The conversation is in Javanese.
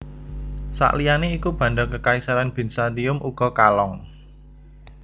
Sakliyane iku banda Kekaisaran Bizantium uga kalong